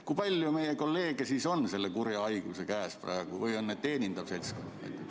Kui palju meie kolleege siis on selle kurja haiguse käes või on see teenindav seltskond?